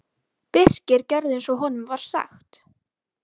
Þau voru róleg og bitu gras í ákafa.